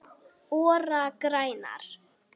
ORA grænar